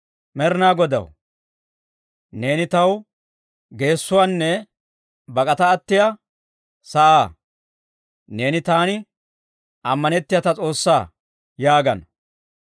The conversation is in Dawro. Med'inaa Godaw, «Neeni taw geessuwaanne bak'ata attiyaa sa'aa; neeni taani ammanitsiyaa ta S'oossaa» yaagana.